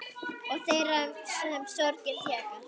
Og þeirra sem sorgin þjakar.